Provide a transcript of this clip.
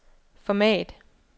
format